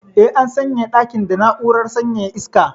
Eh, an sanyaya dakin da na'urar sanyaya iska.